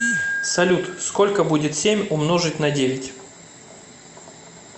салют сколько будет семь умножить на девять